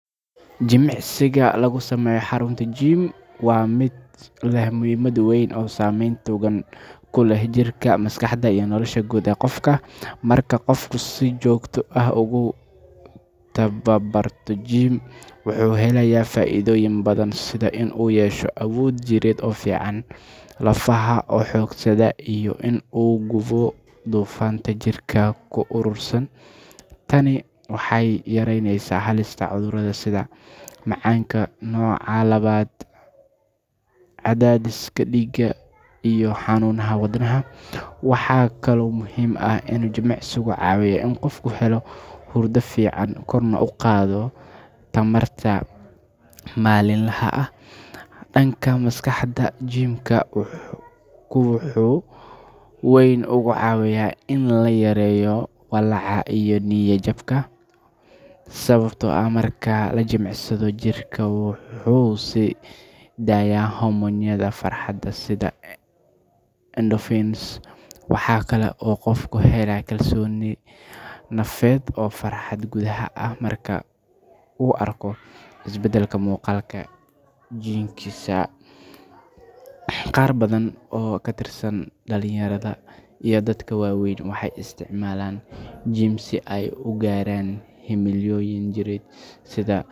Jimicsiga lagu sameeyo xarunta gym waa mid leh muhiimad weyn oo saameyn togan ku leh jirka, maskaxda, iyo nolosha guud ee qofka. Marka qofku si joogto ah ugu tababarto gym, wuxuu helayaa faa’iidooyin badan sida in uu yeesho awood jireed oo fiican, lafaha oo xoogaysta, iyo in uu gubo dufanka jirka ku urursan. Tani waxay yareyneysaa halista cudurrada sida macaanka nooca labaad, cadaadiska dhiigga, iyo xanuunnada wadnaha. Waxaa kaloo muhiim ah in jimicsigu caawiyaa in qofku helo hurdo fiican, korna u qaado tamarta maalinlaha ah. Dhanka maskaxda, gym-ku wuxuu si weyn uga caawiyaa in la yareeyo walaaca iyo niyad-jabka, sababtoo ah marka la jimicsado, jirka wuxuu sii daayaa hormoonnada farxadda sida endorphins. Waxa kale oo qofku helaa kalsooni nafeed iyo farxad gudaha ah marka uu arko isbeddelka muuqaalka jirkiisa. Qaar badan oo ka tirsan dhalinyarada iyo dadka waaweyn waxay isticmaalaan gym si ay u gaaraan himilooyin jireed.